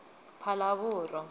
phalaborwa